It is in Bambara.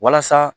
Walasa